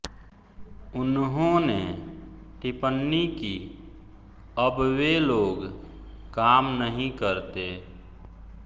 उन्होंने टिपण्णी की अब वे लोग काम नहीं करते